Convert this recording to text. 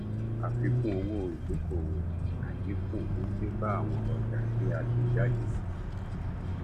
àfikún owó ìdókòwò àdínkù tó dé bá àwọn ọjà tí a tè jáde